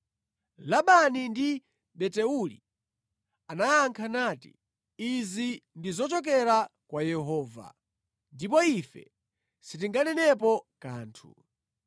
Labani ndi Betueli anayankha nati, “Izi ndi zochokera kwa Yehova, ndipo ife sitinganenepo kanthu.